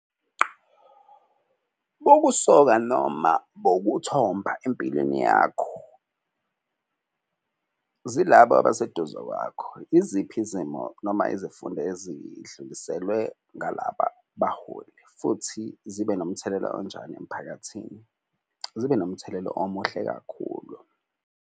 Bubusoka noma bokuthomba empilweni yakho zilaba abaseduze kwakho. Iziphi izimo noma izifundo ezidluliselwe ngalaba baholi futhi zibe nomthelela onjani emphakathini? Zibe nomthelela omuhle kakhulu.